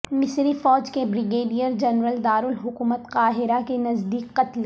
مصری فوج کے بریگیڈیئر جنرل دارالحکومت قاہرہ کے نزدیک قتل